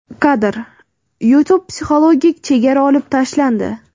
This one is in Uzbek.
Kadr: YouTube - psixologik chegara olib tashlandi.